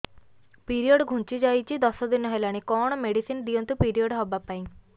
period ଘୁଞ୍ଚି ଯାଇଛି ଦଶ ଦିନ ହେଲାଣି କଅଣ ମେଡିସିନ ଦିଅନ୍ତୁ ପିରିଅଡ଼ ହଵା ପାଈଁ